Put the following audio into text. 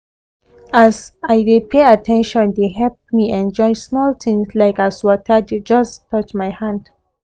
e as i de pay at ten tion dey help me enjoy small things like as water just touch my hand